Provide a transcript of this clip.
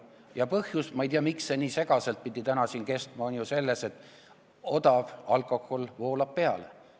Ja põhjus – ma ei tea, miks see nii segaselt pidi täna siin kõlama – on ju selles, et odav alkohol voolab peale.